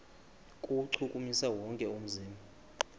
kuwuchukumisa wonke umzimba